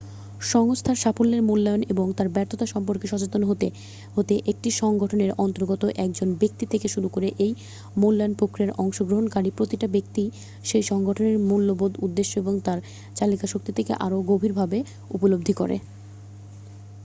সংস্থার সাফল্যের মূল্যায়ন এবং তার ব্যর্থতা সম্পর্কে সচেতন হতে হতে একটি সংগঠনের অন্তর্গত একজন ব্যক্তি থেকে শুরু করে এই মূল্যায়ন প্রক্রিয়ায় অংশগ্রহণকারী প্রতিটা ব্যক্তিই সেই সংগঠনের মূল্যবোধ উদ্দেশ্য এবং তার চালিকাশক্তিকে আরও গভীর ভাবে উপলব্ধি করে